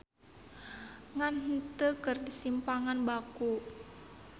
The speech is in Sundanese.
Ngan heunteu keur simpangan baku.